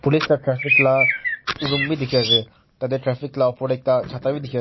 police la traffic la room wi dikhi ase tate traffic la opor teh chata bi dikhi ase.